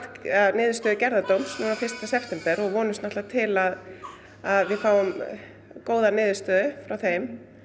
niðurstöðu gerðardóms núna fyrsta september og vonumst til að að við fáum góða niðurstöðu frá þeim